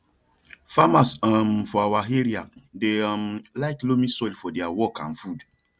farmers um for our area dey um like loamy soil for their work and food